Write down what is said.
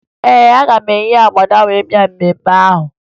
Ee, aga m eyi agbada wee bịa mmemme ahụ